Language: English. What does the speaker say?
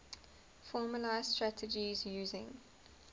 formalised strategies using